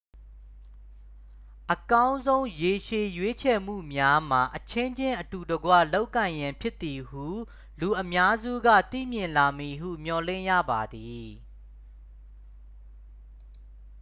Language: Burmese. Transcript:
အကောင်းဆုံး ရေရှည် ရွေးချယ်မှုများမှာ အချင်းချင်း အတူတကွ လုပ်ကိုင်ရန်ဖြစ်သည်ဟု လူအများစုက သိမြင်လာမည်ဟု မျှော်လင့်ရပါသည်